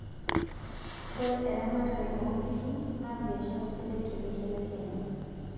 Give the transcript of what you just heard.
Ore eramatare oonkishuu naa biashara sidai tolosho le Kenya.